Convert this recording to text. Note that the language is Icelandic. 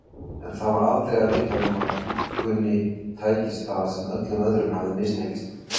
En það var aldrei að vita nema dúkkunni tækist það sem öllum öðrum hafði mistekist.